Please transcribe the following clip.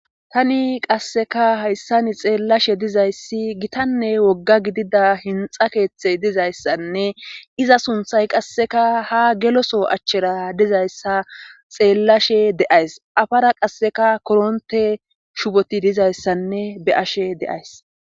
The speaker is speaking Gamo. Tani qasseka hayssani xeellashe dizayssi gitanne wogga gidida hinxa keeththey dizayssanne iza sunthay qasseka ha geloso achchera dizayssa xeellashe de7ays afara qasseka koronte shupoti dizayssanne be ashe deays